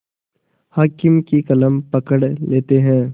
हाकिम की कलम पकड़ लेते हैं